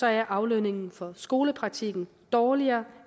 er aflønningen for skolepraktikken dårligere